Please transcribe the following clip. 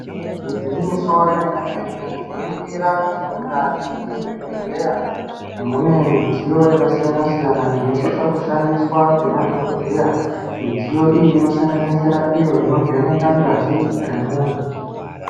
Igwinyiso remene mene tinoningira kuti mukati mezvibhedhleya mune midziyo yakasiyana -siyana inosisa kushandisa nemadhokodheya midziyo iyi inosanganisira iyo inovheneka ngazi yemuntu.